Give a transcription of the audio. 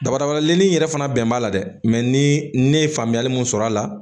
Dabadabalenin in yɛrɛ fana bɛn b'a la dɛ ni ne ye faamuyali min sɔrɔ a la